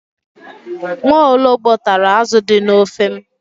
Nwaologbo tara azụ dị n'ofe m.